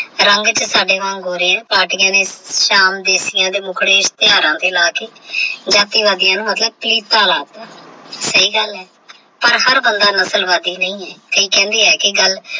ਰੰਗ ਤੇ ਸਾਡੇ ਵਾਂਗ ਗੋਰੇ ਹੈ ਨੇ ਸ਼ਾਮ ਦੇ ਮੁੱਖੜੇ ਤੇ ਲਾ ਕੇ ਜਾਤੀਵਾਦੀਆਂ ਨੂੰ ਮਤਲਬ ਸਹੀ ਗੱਲ ਹੈ ਪਰ ਹਰ ਬੰਦਾ ਨਸਲਵਾਦੀ ਨਹੀਂ ਹੈ।